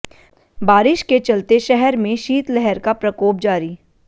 बारिश के चलते शहर में शीतलहर का प्रकोप जारी